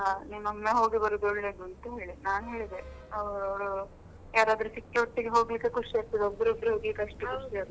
ಆ ನೀನೊಮ್ಮೆ ಹೋಗಿ ಬರುದು ಒಳ್ಳೇದು ಅಂತ ಹೇಳಿದ್ರು ನಾನ್ ಹೇಳಿದೆ ಅವಳು ಯಾರಾದ್ರೂ ಸಿಕ್ಕಿ ಒಟ್ಟಿಗೆ ಹೋಗ್ಲಿಕ್ಕೆ ಖುಷಿ ಆಗ್ತದೆ ಒಬ್ರೆ ಒಬ್ರೆ ಹೋಗ್ಲಿಕ್ಕೆ ಅಷ್ಟು ಖುಷಿ ಆಗುದಿಲ್ಲ